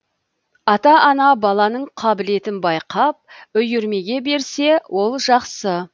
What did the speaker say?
ата ана баланың қабілетін байқап үйірмеге берсе ол жақсы